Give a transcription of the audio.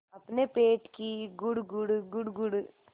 अपने पेट की गुड़गुड़ गुड़गुड़